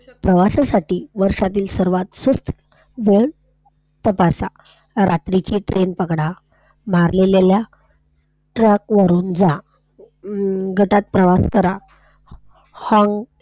प्रवासासाठी वर्षातील सर्वात स्वस्त दर तपासा, रात्रीची Train पकडा, , ओढून घ्या, अं गटात प्रवास करा. हाँग इथे,